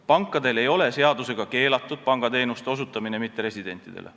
Pankadel ei ole seadusega keelatud mitteresidentidele pangateenuseid osutada.